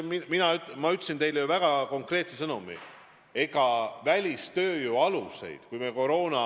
Ma ütlesin teile ju väga konkreetse sõnumi: ega välistööjõu kasutamise aluseid ei ole ju kuidagi muudetud.